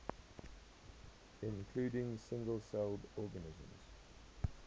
including single celled organisms